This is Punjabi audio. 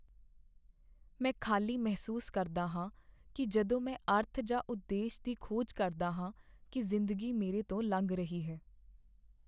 ਮੈਂ ਖ਼ਾਲੀ ਮਹਿਸੂਸ ਕਰਦਾ ਹਾਂ ਕੀ ਜਦੋਂ ਮੈਂ ਅਰਥ ਜਾਂ ਉਦੇਸ਼ ਦੀ ਖੋਜ ਕਰਦਾ ਹਾਂ ਕੀ ਜ਼ਿੰਦਗੀ ਮੇਰੇ ਤੋਂ ਲੰਘ ਰਹੀ ਹੈ